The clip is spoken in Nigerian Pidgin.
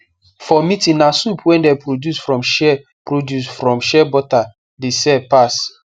for meeting na soap wey dem produce from shea produce from shea butter the sell pass